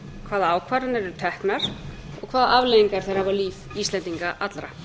hvaða ákvarðanir eru teknar og hvaða afleiðingar þær hafa á líf íslendinga allra